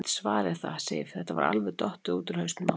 Ég get svarið það, Sif, þetta var alveg dottið út úr hausnum á mér.